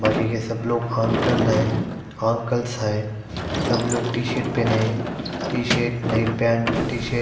बाकि के सब लोग हंकल है हांकलस है सब लोग टीशर्ट पहने है टीशर्ट ने पेंट टीशर्ट --